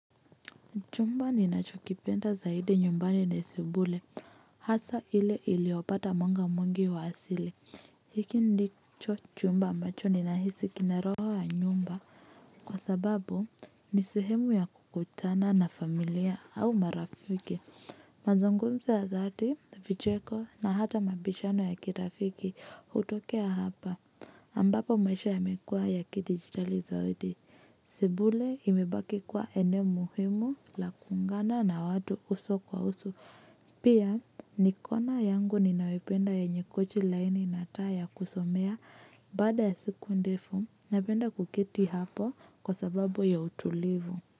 Chumba ni nacho kipenda zaidi nyumbani ni sebule. Hasa ile iliopata mwanga mwingi wa asili. Hiki ndi cho chumba ambacho ni nahisi roho ya nyumba kwa sababu ni sehemu ya kukutana na familia au marafiki. Mazungumzo ya dhati, vicheko na hata mabishano ya kirafiki hutokea hapa. Ambapo maisha yamekua ya kidigitali zaidi. Sebule imebaki kwa eneo muhimu la kuungana na watu uso kwa uso. Pia ni kona yangu ninayoipenda yenye kochi laini na taa kusomea badaa ya siku ndefu napenda kuketi hapo kwa sababu ya utulivu.